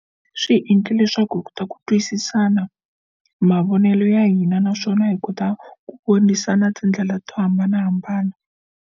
Swi hi endle leswaku hi kota ku twisisana mavonelo ya hina naswona hi kota ku vonisana tindlela to hambanahambana.